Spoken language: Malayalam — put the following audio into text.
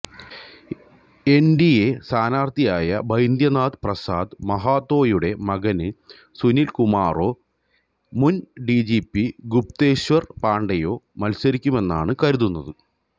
എന്ഡിഎ സ്ഥാനാര്ത്ഥിയായി ബൈദ്യനാഥ് പ്രസാദ് മഹാതോയുടെ മകന് സുനില് കുമാറോ മുന് ഡിജിപി ഗുപ്തേശ്വര് പാണ്ഡെയോ മത്സരിക്കുമെന്നാണ് കരുതുന്നത്